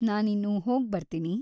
ನಾನಿನ್ನು ಹೋಗ್ಬರ್ತೀನಿ.